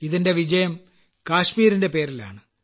ഇതിന്റെ വിജയം കാശ്മീരിന്റെ പേരിലാണ്